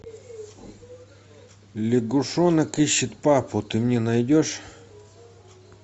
лягушонок ищет папу ты мне найдешь